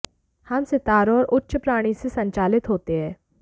हम सितारों और उच्च प्राणी से संचालित होते हैं